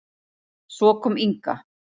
Svo kom Inga.